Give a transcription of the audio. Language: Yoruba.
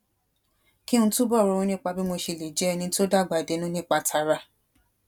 kí n túbò ronú nípa bí mo ṣe lè jé ẹni tó dàgbà dénú nípa tara